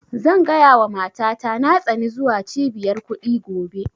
Zan gaya wa mata ta na tsani zuwa cibiyar kuɗi gobe